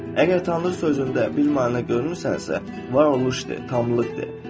Əgər Tanrı sözündə bir maneə görmürsənsə, varoluş de, tamlıq de.